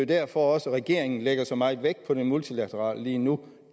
derfor at regeringen lægger så meget vægt på det multilaterale lige nu